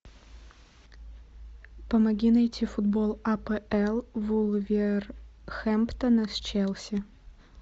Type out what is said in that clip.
помоги найти футбол апл вулверхэмптона с челси